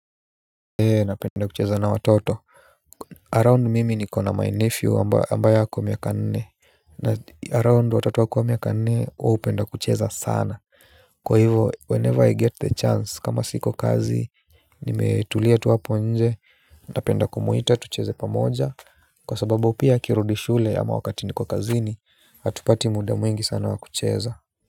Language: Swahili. Ee, napenda kucheza na watoto around mimi nikona my nephew ambaye ako miaka nne. Around watoto kwa miaka nne wao hupenda kucheza sana. Kwa hivo whenever I get the chance kama siko kazi nimetulia tu hapo nje napenda kumuita tucheze pamoja kwa sababu pia akirudi shule ama wakati niko kazini hatupati muda mwingi sana wakucheza.